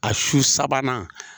A su sabanan.